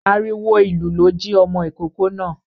Àriwo ìlú ló ji ọmọ ìkókó náà.